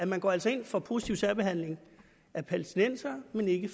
man går altså ind for positiv særbehandling af palæstinensere men ikke